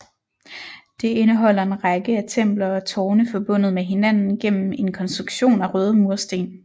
Det indeholder en række af templer og tårne forbundet med hinanden gennem en konstruktion af røde mursten